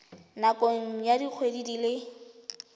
nakong ya dikgwedi di le